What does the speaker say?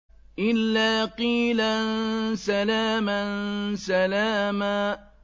إِلَّا قِيلًا سَلَامًا سَلَامًا